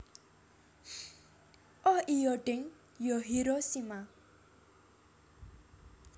Oh iyo deng yo Hiroshima